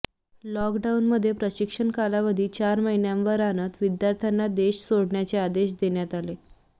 लॉकडाऊनमुळे प्रशिक्षण कालावधी चार महिन्यांवर आणत विद्यार्थ्यांना देश सोडण्याचे आदेश देण्यात आले